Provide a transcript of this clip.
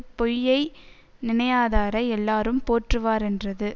பொய்யை நினையாதாரை எல்லாரும் போற்றுவாரென்றது